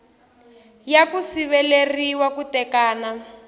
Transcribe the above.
ya ku siveriwa ku tekana